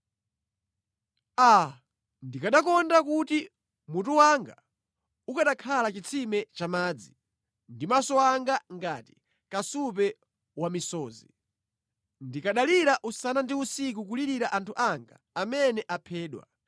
Aa, ndikanakonda kuti mutu wanga ukanakhala chitsime cha madzi, ndi maso anga ngati kasupe wa misozi! Ndikanalira usana ndi usiku kulirira anthu anga amene aphedwa.